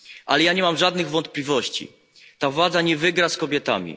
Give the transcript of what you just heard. Ale ja nie mam żadnych wątpliwości ta władza nie wygra z kobietami.